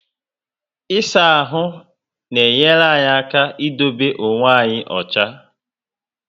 Isaa ahụ na enyere anyị aka idobe okwe anyị ocha